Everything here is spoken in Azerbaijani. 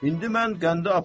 İndi mən qəndi aparıram.